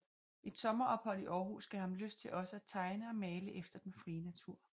Et sommerophold i Århus gav ham lyst til også at tegne og male efter den frie natur